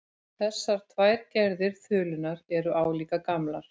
Þessar tvær gerðir þulunnar eru álíka gamlar.